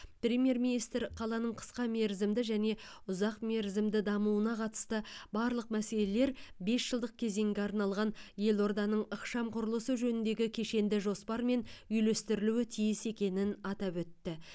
премьер министр қаланың қысқа мерзімді және ұзақ мерзімді дамуына қатысты барлық мәселелер бес жылдық кезеңге арналған елорданың ықшам құрылысы жөніндегі кешенді жоспармен үйлестірілуі тиіс екенін атап өтті